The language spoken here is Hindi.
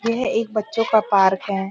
यह एक बच्चों का पार्क है।